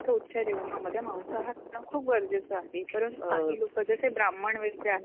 रोजच्या जेवणामध्ये मांसाहार कारण खूप गरजेचं आहे कारण काही लोक जसे ब्राह्मण वगैरे आहेत